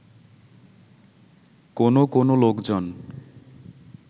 কোনো কোনো লোকজন